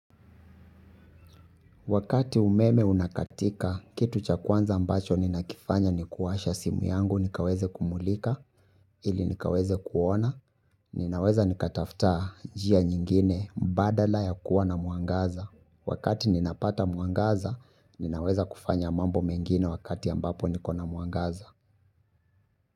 Wakati umeme unakatika, kitu cha kwanza ambacho ninakifanya ni kuwasha simu yangu nikaweze kumulika ili nikaweze kuona, ninaweza nikataftaa jia nyingine mbadala ya kuwa na mwangaza. Wakati ninapata mwangaza, ninaweza kufanya mambo mengine wakati ambapo niko na mwangaza.